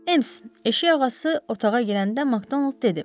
Ems, eşikağası otağa girəndə Makdonalt dedi.